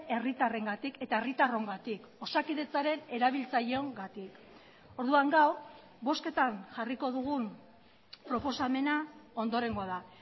herritarrengatik eta herritarrongatik osakidetzaren erabiltzaileongatik orduan gaur bozketan jarriko dugun proposamena ondorengoa da